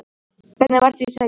Hvernig var því tekið?